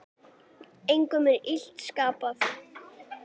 Engum er illt skapað.